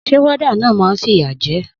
Sé warder náà ma n fìyà je